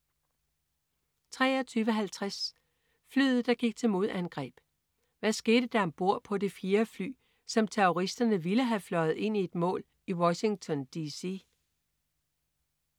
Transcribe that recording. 23.50 Flyet, der gik til modangreb. Hvad skete der om bord på det fjerde fly, som terroristerne ville have fløjet ind i et mål i Washington DC?